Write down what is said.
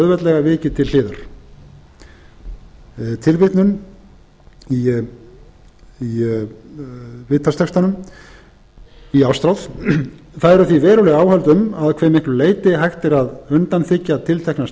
auðveldlega vikið til hliðar tilvitnun í viðtalstextanum í ástráð það eru því veruleg áhöld um að hve miklu leyti hægt er að undanþiggja tiltekna